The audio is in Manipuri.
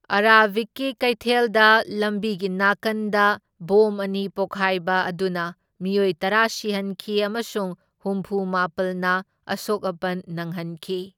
ꯑꯔꯥꯕꯤꯒꯤ ꯀꯩꯊꯦꯜꯗ ꯂꯝꯕꯤꯒꯤ ꯅꯥꯀꯟꯗ ꯕꯣꯝ ꯑꯅꯤ ꯄꯣꯈꯥꯏꯕ ꯑꯗꯨꯅ ꯃꯤꯑꯣꯏ ꯇꯔꯥ ꯁꯤꯍꯟꯈꯤ ꯑꯃꯁꯨꯡ ꯍꯨꯝꯐꯨ ꯃꯥꯄꯜꯅ ꯑꯁꯣꯛ ꯑꯄꯟ ꯅꯪꯍꯟꯈꯤ꯫